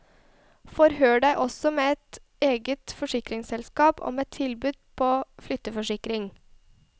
Forhør deg også med eget forsikringsselskap om et tilbud på flytteforsikring.